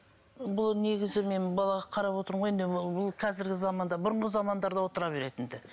бұл негізі мен балаға қарап отырмын ғой енді бұл қазіргі заманда бұрынғы замандарда отыра беретін ді